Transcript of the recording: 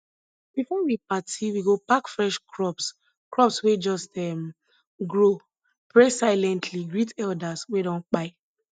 before we party we go pack fresh crops crops wey just um grow pray silently greet elders wey don kpai